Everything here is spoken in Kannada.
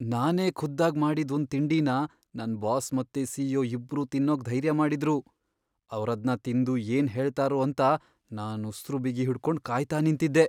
ನಾನೇ ಖುದ್ದಾಗ್ ಮಾಡಿದ್ ಒಂದ್ ತಿಂಡಿನ ನನ್ ಬಾಸ್ ಮತ್ತೆ ಸಿ.ಇ.ಒ. ಇಬ್ರೂ ತಿನ್ನೋಕ್ ಧೈರ್ಯ ಮಾಡಿದ್ರು, ಅವ್ರದ್ನ ತಿಂದು ಏನ್ ಹೇಳ್ತಾರೋ ಅಂತ ನಾನ್ ಉಸ್ರು ಬಿಗಿ ಹಿಡ್ಕೊಂಡ್ ಕಾಯ್ತಾ ನಿಂತಿದ್ದೆ.